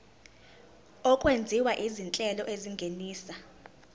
okwenziwa izinhlelo ezingenisa